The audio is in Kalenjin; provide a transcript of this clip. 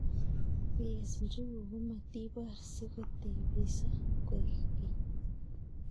ngikes njuguk komatibor si kotebiso koek keny